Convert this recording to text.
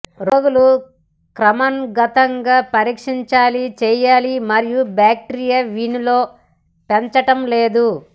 రోగులు క్రమానుగతంగా పరీక్షించాలి చేయాలి మరియు బాక్టీరియా వీనిలో పెంచటం లేదు